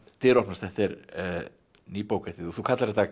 dyr opnast þetta er ný bók eftir þig þú kallar þetta